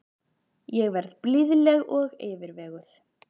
Ég verð blíðleg og yfirveguð.